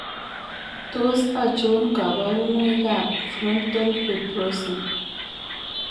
Tos achon kabarunaik ab frontal fibrosing ?